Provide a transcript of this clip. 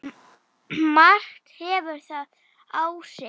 Margt hefur þar áhrif.